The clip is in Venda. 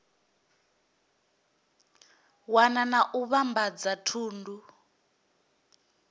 wana na u vhambadza thundu